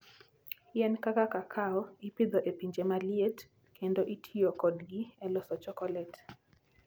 Yien kaka kakao ipidho e pinje ma liet, kendo itiyo kodgi e loso chokolet.